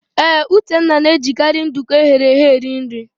Ee, Uchenna na-ejikarị nduku eghere eghe eri nri.